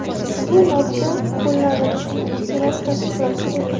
Ushbu modda qo‘llanilishini senat tasdiqlashi kerak.